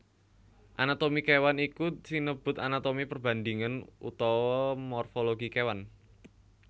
Anatomi kéwan iku sinebut anatomi perbandhingan utawa morfologi kéwan